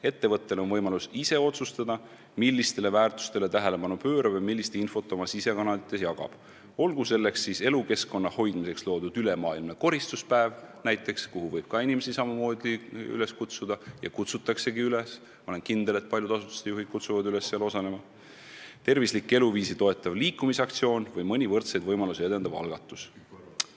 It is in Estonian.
Ettevõttel on võimalus ise otsustada, millistele väärtustele ta tähelepanu pöörab või millist infot oma sisekanalites jagab, olgu tegu elukeskkonna hoidmiseks korraldatava ülemaailmse koristuspäevaga – seal osalema võib inimesi samamoodi üles kutsuda ja ma olen kindel, et paljude asutuste juhid seda teevadki –, tervislikku eluviisi toetava liikumisaktsiooni või võrdseid võimalusi edendava algatusega.